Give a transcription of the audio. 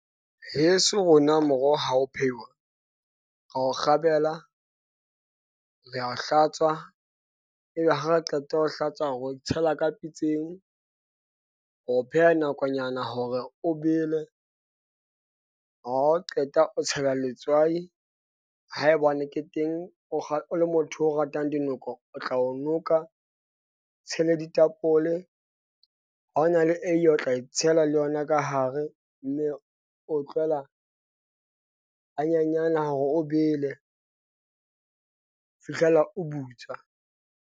Heso, rona moroho, ha o phehiwe, ra o kgabela, re a o hlatswa. Ebe ha a qeta ho o hlatswa re o tshela ka pitseng. Re o pheha nakonyana hore o bele. Ha o qeta o tshela letswai ha e bo ne ke teng, o ha o le motho o ratang dinoko, o tla o noka. Tshele ditapole ha ho na le eie o tla e tshela le yona ka hare. Mme o o tlohela ha nyanyana hore o bele ho fihlela o butswa.